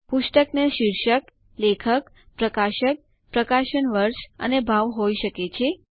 પુસ્તક ને શીર્ષક લેખક પ્રકાશક પ્રકાશન વર્ષ અને ભાવ હોય શકે છે